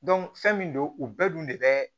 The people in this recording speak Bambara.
fɛn min don u bɛɛ dun de bɛ